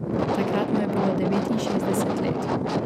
Takrat mu je bilo devetinšestdeset let.